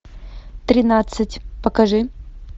тринадцать покажи